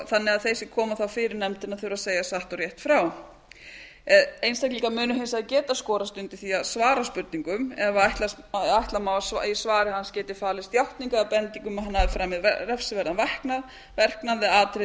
þannig að þeir sem koma þá fyrir nefndina þurfa að segja satt og rétt frá einstaklingar munu hins vegar geta skorast undan því að svara spurningum ef ætla má að í svari hans geti falist játning eða bending um að hann hafi framið refsiverðan verknað verknað eða atriði